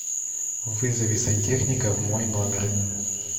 вызови сантехника в мой номер